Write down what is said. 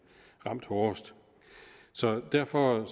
ramt hårdest derfor